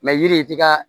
yiri t'i ka